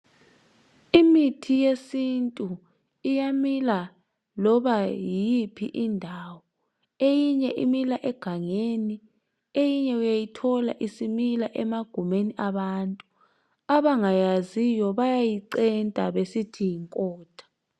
Imithi yesintu iyamila loba yiphi indawo. Eminye imila egangeni, eyinye uyayithola isimila emagumeni abantu. Abangayaziyo bayayicenta besithi yinkotha.